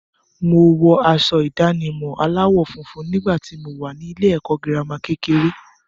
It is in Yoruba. Wo wọ aṣọ ìdánimọ̀ aláwọ̀ funfun nígbà tí wo wà ní ilé-ẹ̀kọ́ girama kékeré.